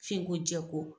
F'i ko jɛ ko